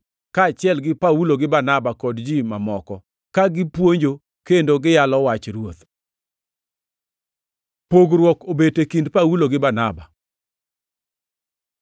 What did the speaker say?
Kaachiel gi Paulo gi Barnaba kod ji mamoko, ka gipuonjo kendo giyalo wach Ruoth. Pogruok obet e kind Paulo gi Barnaba